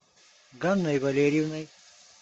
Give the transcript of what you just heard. ганной валерьевной